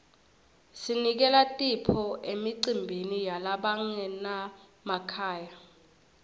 sinikela tipho emicimbini yalabangenamakhaya